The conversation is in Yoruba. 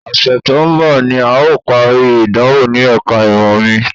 Ọ̀sẹ̀ tó ń bọ̀ ni à ó parí ìdánwò ní ẹ̀ka ìmọ̀ mi